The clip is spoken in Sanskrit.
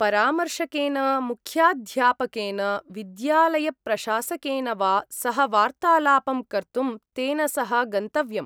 परामर्शकेन, मुख्याध्यापकेन, विद्यालयप्रशासकेन वा सह वार्तालापं कर्तुं तेन सह गन्तव्यम्।